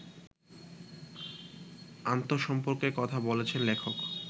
আন্তসম্পর্কের কথা বলেছেন লেখক